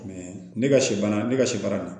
ne ka sibana ne ka sɛ baara